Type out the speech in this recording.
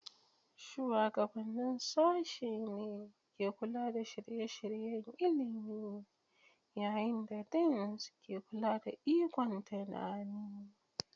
Shugabannin Sashen ne ke kula da shirye-shiryen ilimi, yayin da Deans ke kula da ikon tunani.